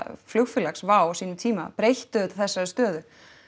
flugfélags Wow á sínum tíma breytti auðvitað þessari stöðu